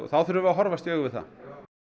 þá verðum við að horfast í augu við það